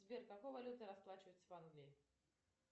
сбер какой валютой расплачиваются в англии